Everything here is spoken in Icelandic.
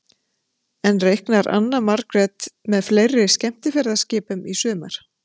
En reiknar Anna Margrét með fleiri skemmtiferðaskipum í sumar?